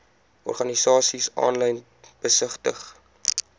organisasies aanlyn besigtig